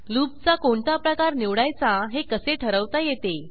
लूपचा कोणता प्रकार निवडायचा हे कसे ठरवता येते